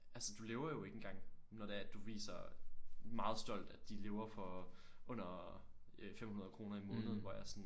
Altså du lever jo ikke engang når det er at du viser meget stolt at de lever for under øh 500 kroner i måneden hvor jeg er sådan